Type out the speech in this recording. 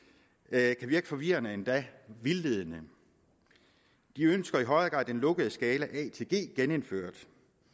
a kan virke forvirrende og endda vildledende de ønsker i højere grad den lukkede skala med a til g genindført